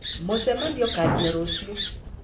Mũcemanio ũkanjia rũciũ